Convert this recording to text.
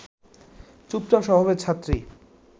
চুপচাপ স্বভাবের ছাত্রী